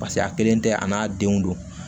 Paseke a kelen tɛ a n'a denw don